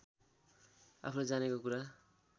आफूले जानेको कुरा